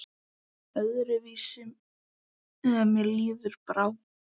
Öðru vísi mér áður brá.